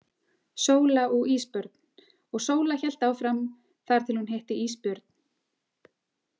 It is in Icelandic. Sóla og Ísbörn Og Sóla hélt áfram þar til hún hitti ísbjörn.